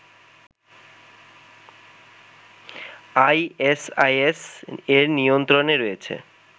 ISIS এর নিয়ন্ত্রণে রয়েছে